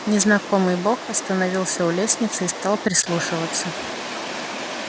незнакомый бог остановился у лестницы и стал прислушиваться